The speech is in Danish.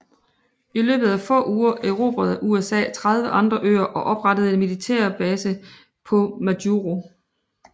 I løbet af få uger erobrede USA 30 andre øer og oprettede en militærbase på Majuro